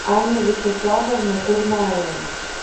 анна вячеславовна курмаева